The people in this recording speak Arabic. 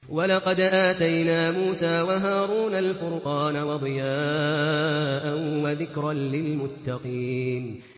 وَلَقَدْ آتَيْنَا مُوسَىٰ وَهَارُونَ الْفُرْقَانَ وَضِيَاءً وَذِكْرًا لِّلْمُتَّقِينَ